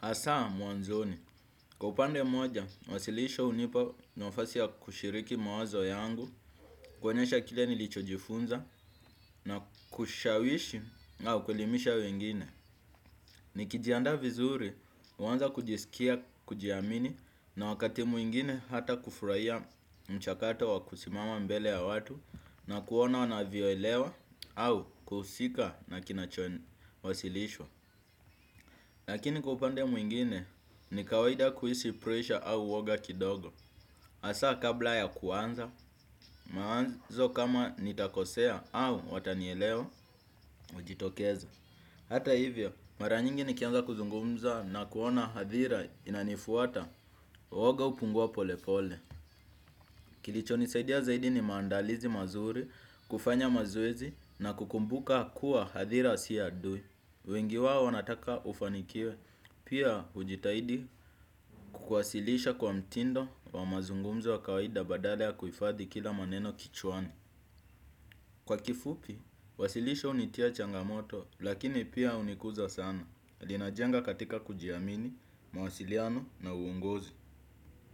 Hasa mwanzoni, kwa upande moja, wasilisho hunipa nafasi ya kushiriki mawazo yangu, kuonyesha kile nilichojifunza na kushawishi na kuelimisha wengine. Nikijiandaa vizuri, huanza kujisikia, kujiamini na wakati mwingine hata kufurahia mchakato wa kusimama mbele ya watu na kuona wanavioelewa au kuhusika na kinachowasilishwa. Lakini kwa upande mwingine ni kawaida kuhisi pressure au uoga kidogo. Hasa kabla ya kuanza, mawazo kama nitakosea au watanielewa najitokeza. Hata hivyo, mara nyingi nikianza kuzungumza na kuona hadhira inanifuata, woga hupungua pole pole. Kilicho nisaidia ya zaidi ni maandalizi mazuri, kufanya mazoezi na kukumbuka kuwa hadhira si adui. Wengi wao wanataka ufanikiwe, pia ujitahidi kuwasilisha kwa mtindo wa mazungumza wa kawaida badala ya kuhifadhi kila maneno kichwani. Kwa kifupi, wasilisho hunitia changamoto lakini pia hunikuza sana. Linajenga katika kujiamini, mawasiliano na uongozi.